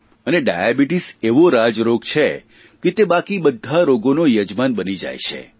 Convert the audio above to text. અને ડાયાબિટીસ એવો રાજરોગ છે કે તે બાકી બધા રોગોનો યજમાન બની જાય છે